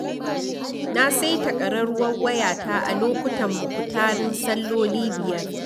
Na saita ƙararrwar wayata a lokutan mukutarin salloli biyar.